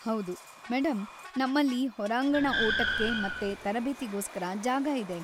ಹೌದು, ಮೇಡಂ, ನಮ್ಮಲ್ಲಿ ಹೊರಾಂಗಣ ಓಟಕ್ಕೆ ಮತ್ತೆ ತರಬೇತಿಗೋಸ್ಕರ ಜಾಗ ಇದೆ.